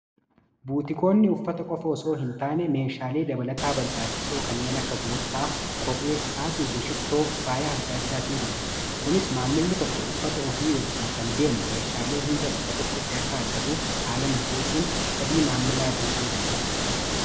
Buutikoonni uffata qofa itoo hintaane meeshaalee dabalataa barbaachisoo kanneen akka Borsaa, Kophee isaatiifi Shittoo faaya adda addaas nigurguru. Kunis maamilli tokko uffata ofii wajjiin kan deemu meeshaalee hunda bakka tokkotti akka argatuuf haala mijeessuun fedhii maamilaa guutuu danda'a.